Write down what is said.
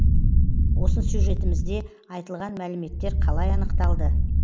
осы сюжетімізде айтылған мәліметтер қалай анықталды